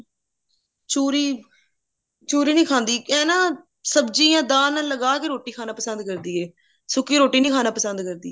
ਚੂਰੀ ਚੂਰੀ ਨਹੀਂ ਖਾਂਦੀ ਇਹ ਨਾ ਸਬਜੀਆਂ ਦਾਲ ਨਾਲ ਲਗਾਕੇ ਰੋਟੀ ਖਾਣਾ ਪਸੰਦ ਕਰਦੀ ਹੈ ਸੁੱਕੀ ਰੋਟੀ ਨਹੀਂ ਖਾਣਾ ਪਸੰਦ ਕਰਦੀ